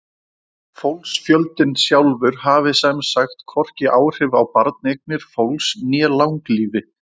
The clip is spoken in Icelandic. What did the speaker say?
Fólksfjöldinn sjálfur hafi sem sagt hvorki áhrif á barneignir fólks né langlífi.